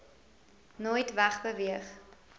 nooit weg beweeg